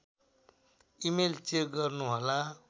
email check गर्नुहोला